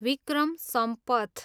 Vikram Sampath